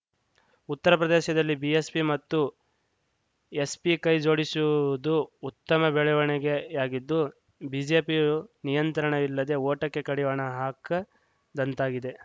ಉತ್ತರ ಪ್ರದೇಶದಲ್ಲಿ ಬಿಎಸ್‌ಪಿ ಮತ್ತು ಎಸ್‌ಪಿ ಕೈ ಜೋಡಿಸಿವುದು ಉತ್ತಮ ಬೆಳವಣಿಗೆಯಾಗಿದ್ದು ಬಿಜೆಪಿಯು ನಿಯಂತ್ರಣವಿಲ್ಲದೆ ಓಟಕ್ಕೆ ಕಡಿವಾಣ ಹಾಕದಂತಾಗಿದೆ